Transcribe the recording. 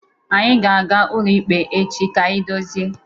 Anyị ga-aga ụlọikpe echi ka anyị dozie.